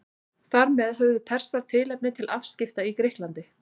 Þar með höfðu Persar tilefni til afskipta í Grikklandi.